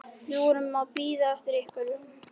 Við vorum að bíða eftir einhverju.